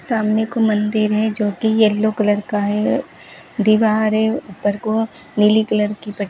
सामने को मंदिर है जो की येलो कलर का है दीवार है ऊपर को नीली कलर की प --